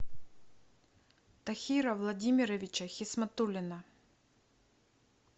тахира владимировича хисматуллина